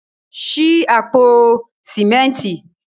Ṣí àpò sìmẹ́ntì.